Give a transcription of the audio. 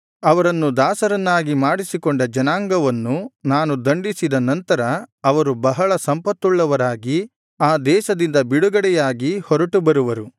ಅವರನ್ನು ದಾಸರನ್ನಾಗಿ ಮಾಡಿಸಿಕೊಂಡ ಜನಾಂಗವನ್ನು ನಾನು ದಂಡಿಸಿದ ನಂತರ ಅವರು ಬಹಳ ಸಂಪತ್ತುಳ್ಳವರಾಗಿ ಆ ದೇಶದಿಂದ ಬಿಡುಗಡೆಯಾಗಿ ಹೊರಟು ಬರುವರು